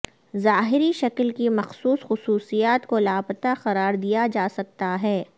ظاہری شکل کی مخصوص خصوصیات کو لاپتہ قرار دیا جا سکتا ہے